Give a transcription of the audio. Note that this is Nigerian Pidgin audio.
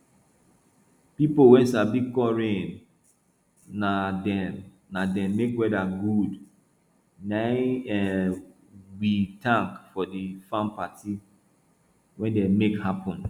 people wey sabi call rain na dem na dem make weather good na im we thank for the farm party wey dem make happen